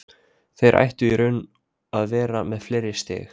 Þeir ættu í raun að vera með fleiri stig.